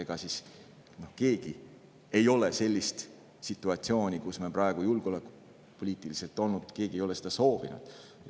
Ega siis keegi ei ole sellist situatsiooni, kus me praegu julgeolekupoliitiliselt oleme, soovinud.